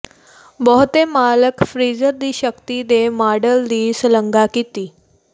ਬਹੁਤੇ ਮਾਲਕ ਫਰੀਜ਼ਰ ਦੀ ਸ਼ਕਤੀ ਦੇ ਮਾਡਲ ਦੀ ਸ਼ਲਾਘਾ ਕੀਤੀ